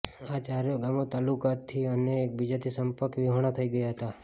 આ ચારેવ ગામો તાલુકા થી અને એકબીજાથી સંપર્ક વિહોણા થઇ ગયા હતા